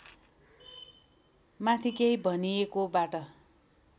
माथि केही भनिएकोबाट